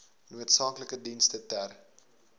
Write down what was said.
noodsaaklike dienste ter